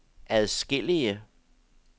adskillige